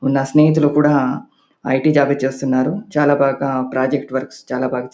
నా స్నేహితులు కూడా ఐ.టీ. జాబ్ చేస్తున్నారు. చాల బాగా ప్రాజెక్ట్ వర్క్స్వ్ చాల బాగా --